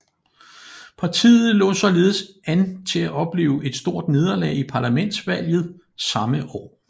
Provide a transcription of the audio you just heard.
Partiet lå således an til at opleve et stort nederlag i parlamentsvalget samme år